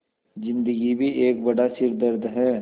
ज़िन्दगी भी एक बड़ा सिरदर्द है